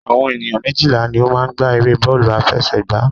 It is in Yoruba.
Àwọn ènìyàn méjìlá ní o máa n gbá eré bọ́ọ̀lù àfẹsẹ̀gbá